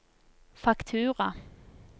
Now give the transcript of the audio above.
faktura